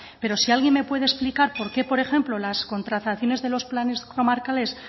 pero si alguien me puede explicar por qué por ejemplo las contrataciones de los planes comarcales